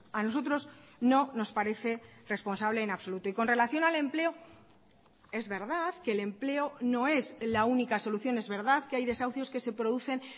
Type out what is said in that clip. a nosotros no nos parece responsable en absoluto y con relación al empleo es verdad que el empleo no es la única solución es verdad que hay desahucios que se producen